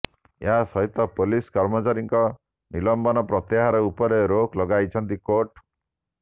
ଏହା ସହିତ ପୋଲିସ କର୍ମଚାରୀଙ୍କ ନିଲମ୍ବନ ପ୍ରତ୍ୟାହାର ଉପରେ ରୋକ ଲଗାଇଛନ୍ତି କୋର୍ଟ